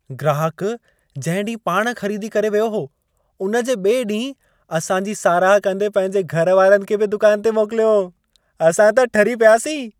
ग्राहक जंहिं ॾींहुं पाण ख़रीदी करे वियो हो, उन जे ॿिए ॾींहुं असां जी साराह कंदे पंहिंजे घर वारनि खे बि दुकान ते मोकिलियो। असां त ठरी पियासीं।